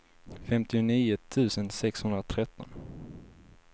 femtionio tusen sexhundratretton